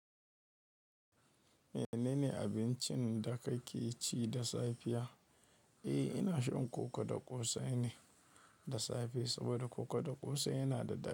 Menene abincin da kake ci da safiya? Eh, ina shan koko da ƙosai ne da safe saboda koko da ƙosai yana da ɗadi.